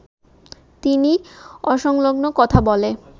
তিনি অসংলগ্ন কথা বলে